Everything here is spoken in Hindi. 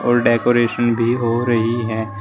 और डेकोरेशन भी हो रही है।